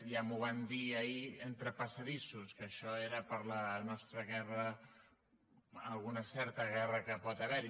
ja m’ho van dir ahir entre passadissos que això era per la nostra guerra alguna certa guerra que pot haver hi